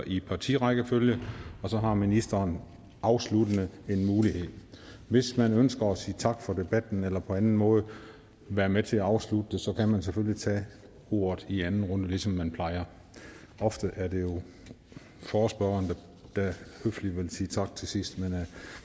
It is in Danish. i partirækkefølge og så har ministeren afsluttende en mulighed og hvis man ønsker at sige tak for debatten eller på anden måde være med til at afslutte den så kan man selvfølgelig tage ordet i anden runde ligesom man plejer ofte er det jo forespørgeren der høfligt vil sige tak til sidst men